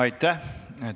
Aitäh!